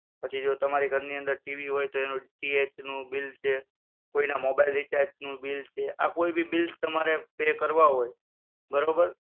પછી જો તમારા ઘરની અંદર TV હોય તો એનું DTH નું bill છે, કોઈના mobile recharge નું bill છે. આ કોઈ ભી bill તમારે pay કરવા હોય બરોબર?